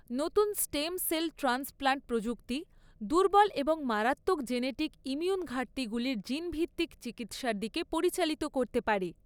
নতুন stem cell transplant প্রযুক্তি দুর্বল এবং মারাত্মক জেনেটিক ইমিউন ঘাটতিগুলির জিন ভিত্তিক চিকিত্সার দিকে পরিচালিত করতে পারে।